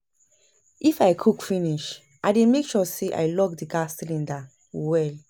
if I cook finish, I dey mek sure say I lock di gas cylinder well